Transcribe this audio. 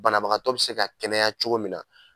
Banabagatɔ bɛ se ka kɛnɛya cogo min na.